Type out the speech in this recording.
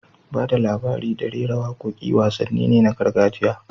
Ba da labari da rera waƙoƙi wasanni ne na gargajiya